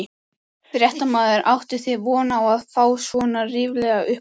Fréttamaður: Áttuð þið von á að fá svona ríflega upphæð?